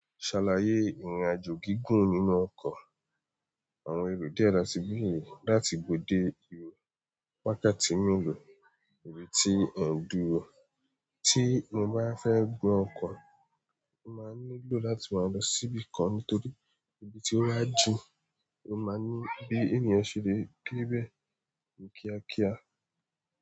Ṣàlàyé ìrìn àjò gígùn nínú ọkọ̀. Àwọn eru díẹ̀ ra síbi yìí láti ibo de ibo, wákati melò? Ibi tí ẹ̀n dùro, ti mo bá fẹ́ gun ọkọ̀, mo maa nílò láti wáa lọ sí ibi kan nítorí, ibi tí ó ba jin, ó máa ní bí ènìyàn ṣe lè debe ní kíákíá.